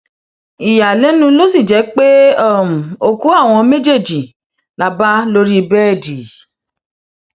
ìyàlẹnu ló sì jẹ pé òkú àwọn méjèèjì la bá lórí bẹẹdì